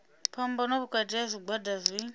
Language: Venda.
phambano vhukati ha zwigwada zwi